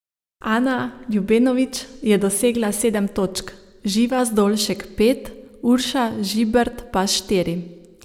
Ana Ljubenović je dosegla sedem točk, Živa Zdolšek pet, Urša Žibert pa štiri.